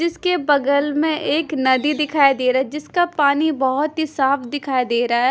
जिसके बगल में एक नदी दिखाई दे रहा है जिसका पानी बहोत ही साफ दिखाई दे रहा है।